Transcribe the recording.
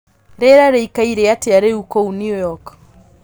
rĩera rĩĩkaĩre atĩa rĩu kũu new york